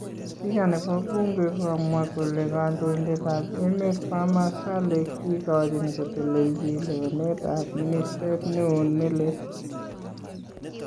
Spika nebo buunke kokamwaa kole kandoindetab emeet Barham Saleh kikochin kotelelchi lewenetab ministeet neon nelel